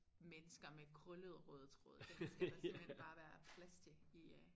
Mennesker med krøllet rød tråd dem skal der simpelthen bare være plads til i øh